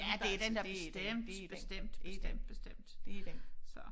Ja det den da bestemt bestemt bestemt bestemt det er den så